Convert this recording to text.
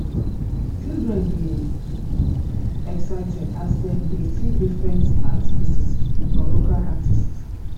children dey excited as dem dey see different art pieces from local artists